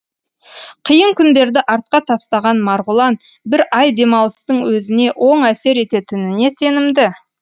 қиын күндерді артқа тастаған марғұлан бір ай демалыстың өзіне оң әсер ететініне сенімді